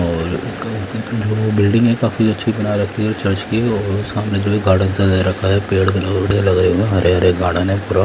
और वो बिल्डिंग है काफीअच्छी बना रखी है चर्च की और सामने जो गार्डन सा दे रखा है पेड़ बड़े लग रहे है हरे हरे गार्डन है।